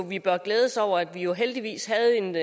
vi bør glæde os over at vi heldigvis havde en